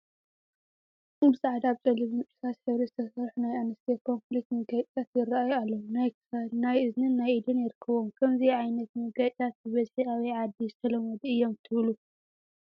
ብፃዕዳ፣ ብፀሊምን እርሳስ ሕብሪ ዝተሰርሑ ናይ ኣንስትዮ ኮምኘሊት መጋየፂታት ይራኣዩ ኣለው፡፡ ናይ ክሳድ፣ ናይ እዝኒን ናይ ኢድን ይርከብዎም፡፡ ከምዚ ዓይነት መጋየፅታት ብበዝሒ ኣበይ ዓዲ ዝተለመዱ እዮም ትብሉ?